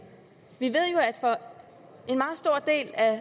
vi at for en meget stor del af